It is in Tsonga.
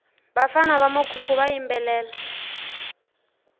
vafana va mukhukhu va yimbelela